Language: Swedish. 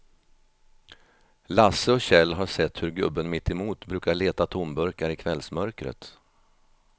Lasse och Kjell har sett hur gubben mittemot brukar leta tomburkar i kvällsmörkret.